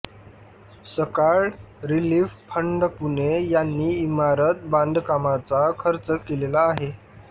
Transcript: सकाळ relief fund Pune यांनी इमारत बांधकामाचा खर्च केलेला आहे